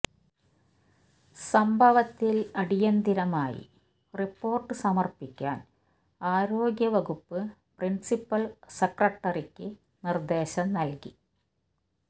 സംഭവത്തിൽ അടിയന്തരമായി റിപ്പോർട്ട് സമർപ്പിക്കാൻ ആരോഗ്യവകുപ്പ് പ്രിൻസിപ്പൽ സെക്രട്ടറിക്ക് നിർദ്ദേശം നൽകി